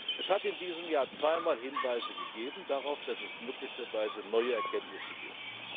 Es hat in diesem Jahr zweimal Hinweise darauf gegeben, dass es möglicherweise neue Erkenntnisse